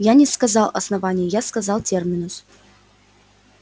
я не сказал основание я сказал терминус